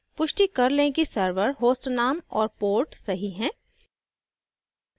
पुष्टि कर लें कि server host name और port सही हैं